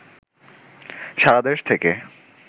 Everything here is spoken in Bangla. সারাদেশ থেকে